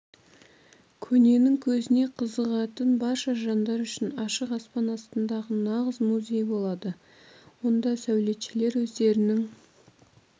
көненің көзіне қызығатын барша жандар үшін ашық аспан астындағы нағыз музей болады онда сәулетшілер өздерінің